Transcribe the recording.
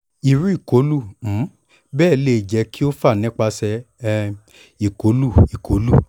iru ikolu um bẹẹ le jẹ ki o fa nipasẹ um ikolu ikolu